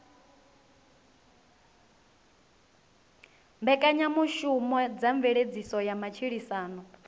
mbekanyamushumo dza mveledziso ya matshilisano